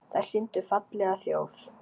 Þær sýndu fallega þjóð.